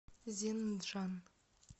зенджан